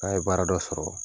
N'a ye baara dɔ sɔrɔ